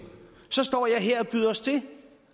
så står jeg her og byder os til